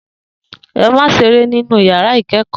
E má se eré ní inú ìyàrá ìkẹẹkọ